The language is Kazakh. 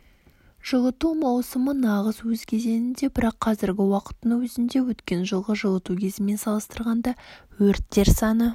жылыту маусымы нағыз өз кезеңінде бірақ қазіргі уақыттың өзінде өткен жылғы жылыту кезімен салыстырғанда өрттер саны